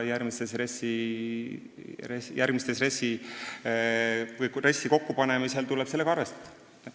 RES-i kokkupanemisel tuleb sellega arvestada.